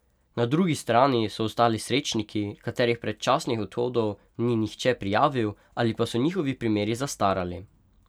Na drugi strani so ostali srečniki, katerih predčasnih odhodov ni nihče prijavil ali pa so njihovi primeri zastarali.